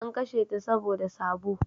An kashe ta saboda sabo